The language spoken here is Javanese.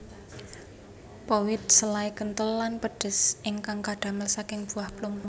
Powidl selai kentel lan pedes ingkang kadamel saking buah plum